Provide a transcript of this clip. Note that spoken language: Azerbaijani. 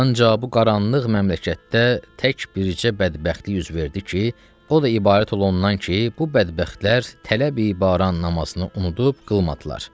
Ancaq bu qaranlıq məmləkətdə tək bircə bədbəxtlik üz verdi ki, o da ibarət olundan ki, bu bədbəxtlər tələbə namazını unudub qılmadılar.